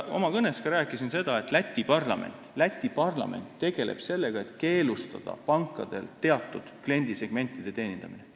Oma kõnes ma rääkisin ka sellest, kuidas Läti parlament tegeleb sellega, et keelustada pankadel teatud kliendisegmentide teenindamine.